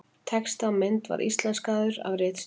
Texti á mynd var íslenskaður af ritstjórn.